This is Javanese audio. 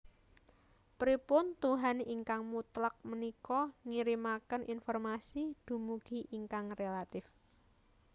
Pripun tuhan ingkang mutlak punika ngirimaken informasi dumugi ingkang relatif